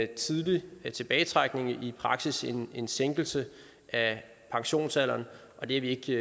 tidlig tilbagetrækning i praksis en en sænkelse af pensionsalderen og det er vi